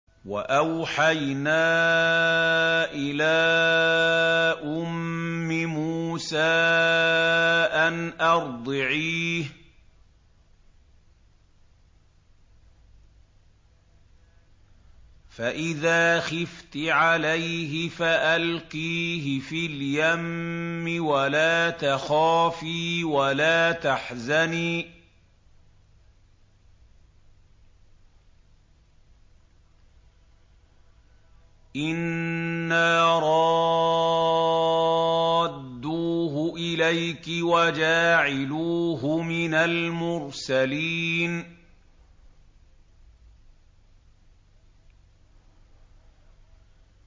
وَأَوْحَيْنَا إِلَىٰ أُمِّ مُوسَىٰ أَنْ أَرْضِعِيهِ ۖ فَإِذَا خِفْتِ عَلَيْهِ فَأَلْقِيهِ فِي الْيَمِّ وَلَا تَخَافِي وَلَا تَحْزَنِي ۖ إِنَّا رَادُّوهُ إِلَيْكِ وَجَاعِلُوهُ مِنَ الْمُرْسَلِينَ